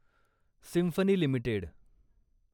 symphony limited